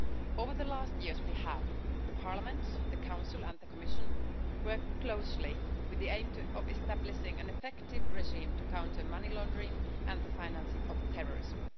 Over the last years, we have the Parliament, the Council and the Commission worked closely with the aim of establishing an effective regime to counter money laundering and the financing of terrorism.